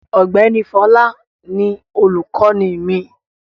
Ọ̀gbẹ́ni Fọlá ni olùkọ́ní mi.